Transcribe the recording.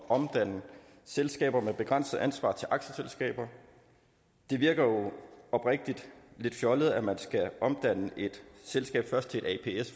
omdanne selskaber med begrænset ansvar til aktieselskaber det virker jo oprigtig lidt fjollet at man først skal omdanne et selskab til et